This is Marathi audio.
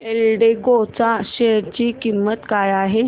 एल्डेको च्या शेअर ची किंमत काय आहे